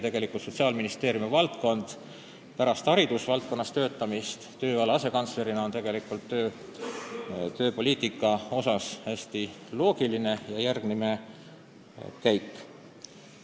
Tegelikult on Sotsiaalministeeriumi valdkond ja tööala asekantsleri koht pärast hariduse valdkonnas töötamist hästi loogiline järgmine käik.